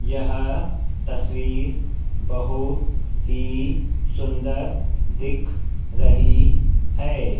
यह तस्वीर बहुत ही सुंदर दिख रही है।